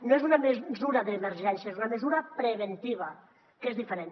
no és una mesura d’emergència és una mesura preventiva que és diferent